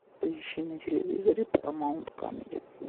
поищи на телевизоре парамаунт камеди